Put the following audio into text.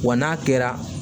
Wa n'a kɛra